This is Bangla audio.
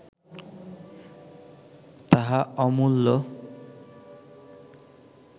তাহা অমূল্য